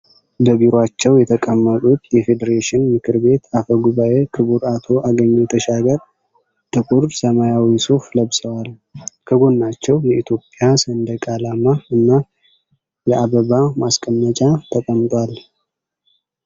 በቢሯቸው የተቀመጡት የፌዴሬሽን ምክር ቤት አፈ-ጉባኤ ክቡር አቶ አገኘሁ ተሻገር፣ ጥቁር ሰማያዊ ሱፍ ለብሰዋል። ከጎናቸው የኢትዮጵያ ሰንደቅ ዓላማ እና የአበባ ማስቀመጫ ተቀምጧል።